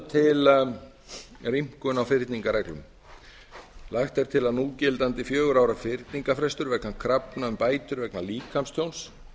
til rýmkun á fyrningarreglum lagt er til að núgildandi fjögurra ára fyrningarfrestur vegna krafna um bætur vegna líkamstjóns